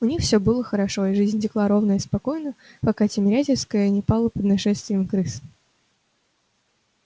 у них всё было хорошо и жизнь текла ровно и спокойно пока тимирязевская не пала под нашествием крыс